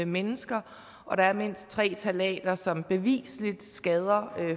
mennesker og der er mindst tre ftalater som bevisligt skader